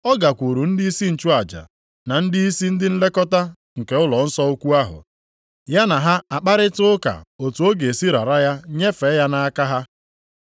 Ọ gakwuru ndịisi nchụaja, na ndịisi ndị nlekọta nke ụlọnsọ ukwu ahụ, ya na ha akparịta ụka otu ọ ga-esi rara ya nyefee ya nʼaka ha.